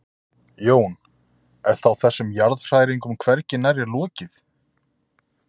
Jón: Er þá þessum jarðhræringum hvergi nærri lokið?